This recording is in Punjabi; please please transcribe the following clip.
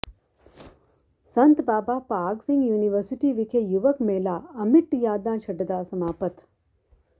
ਸੰਤ ਬਾਬਾ ਭਾਗ ਸਿੰਘ ਯੂਨੀਵਰਸਿਟੀ ਵਿਖੇ ਯੁਵਕ ਮੇਲਾ ਅਮਿੱਟ ਯਾਦਾਂ ਛੱਡਦਾ ਸਮਾਪਤ